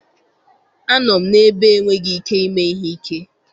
Anọ m n'ebe enweghị ike ime ihe ike